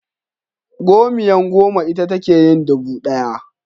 Gomiya goma ita take yin dubu ɗaya.